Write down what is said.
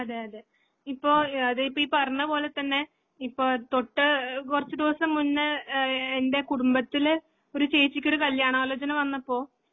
അതേയതെ. ഇപ്പോ അ അത് ഈപറനപോലെത്തന്നെ ഇപ്പൊ തൊട്ട്ഹ് കുറച്ച്ചദിവസംമുന്നേ ഏഹ് എൻ്റെകുടുംബത്തിലെ ഒരുചേച്ചിക്കൊരുകല്യാണാലോചനവന്നപ്പൊ